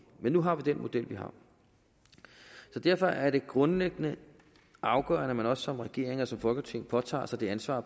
men nu har vi den model vi har så derfor er det grundlæggende afgørende at man som regering og som folketing også påtager sig det ansvar at